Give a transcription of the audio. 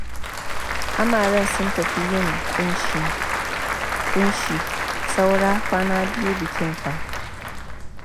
Amaren sun tafi yin ƙunshi saura kwana biyu bikin fa